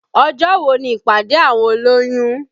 Ọjọ́ wo ni ìpàdé àwọn olóyún?